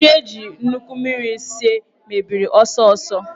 Nri eji nnukwu mmiri sie mebiri ọsọ ọsọ.